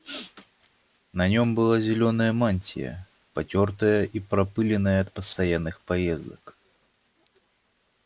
на нем была зелёная мантия потёртая и пропылённая от постоянных поездок